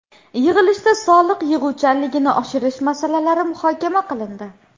Yig‘ilishda soliq yig‘uvchanligini oshirish masalalari muhokama qilindi.